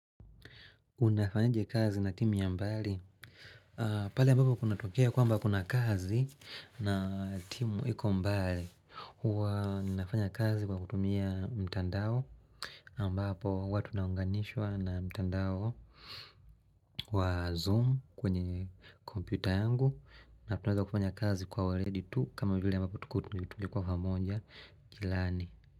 Unafanyaje kazi na timu ya mbali? Pale ambapo kunatokea kwamba kuna kazi na timu iko mbali. Huwa nafanya kazi kwa kutumia mtandao. Ambapo huwa tunaunganishwa na mtandao wa zoom kwenye kompyuta yangu. Na tunaweza kufanya kazi kwa waledi tu kama vile ambapo kutumia kwa pamonja kilani.